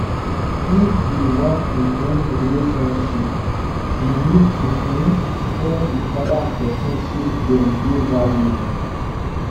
if we wan improve relationship we need to um tell di oda person sey dem dey valuable